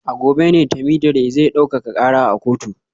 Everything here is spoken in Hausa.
A gobe ne Temidire zai daukaka kara a kotu